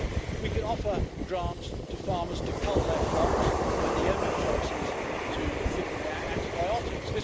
We could offer grants to farmers to cull their flocks when the only choice is to give them antibiotics.